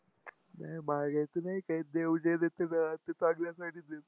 नाही मागायचं नाही, काय देव जे देतो ना ते चांगल्यासाठीच देतो.